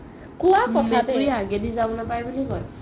মেকুৰি আগেদি যাব নাপাই বুলি কই